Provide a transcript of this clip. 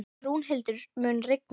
Rúnhildur, mun rigna í dag?